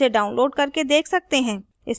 spoken tutorial project team